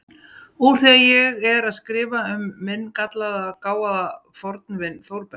Úr því ég er að skrifa um minn gallaða, gáfaða fornvin Þórberg